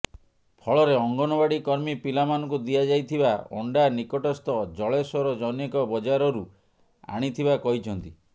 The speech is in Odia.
ଫଳରେ ଅଙ୍ଗନବାଡ଼ି କର୍ମୀ ପିଲାମାନଙ୍କୁ ଦିଆଯାଇଥିବା ଅଣ୍ଡା ନିକଟସ୍ଥ ଜଳେଶ୍ବର ଜନୈକ ବଜାରରୁ ଆଣିଥିବା କହିଛନ୍ତି